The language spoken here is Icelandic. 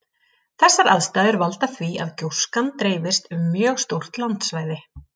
Þessar aðstæður valda því að gjóskan dreifist um mjög stórt landsvæði.